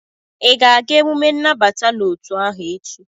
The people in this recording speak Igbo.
ị ga-aga emume nnabata n'otu ahụ echi?